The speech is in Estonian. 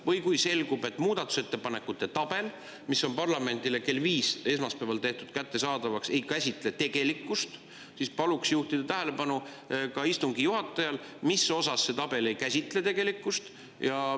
Või kui selgub, et muudatusettepanekute tabel, mis on parlamendile kell viis esmaspäeval tehtud kättesaadavaks, ei käsitle tegelikkust, siis paluks juhtida istungi juhatajal tähelepanu sellele, mis osas see tabel ei käsitle tegelikkust.